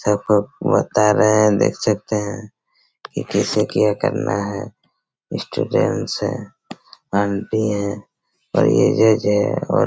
सब को बता रहे है देख सकते है की कैसे केयर करना है स्टूडेंट्स है आंटी है और ये जज है और--